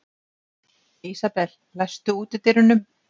Ísabel, læstu útidyrunum.